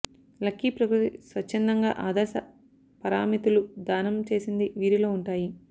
lucky ప్రకృతి స్వచ్ఛందంగా ఆదర్శ పారామితులు దానం చేసింది వీరిలో ఉంటాయి